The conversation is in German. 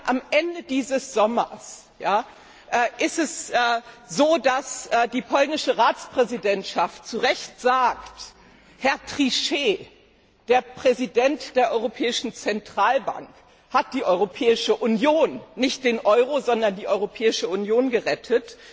Am Ende dieses Sommers ist es so, dass die polnische Ratspräsidentschaft zu Recht sagt Herr Trichet, der Präsident der Europäischen Zentralbank, hat die Europäische Union nicht den Euro, sondern die Europäische Union gerettet.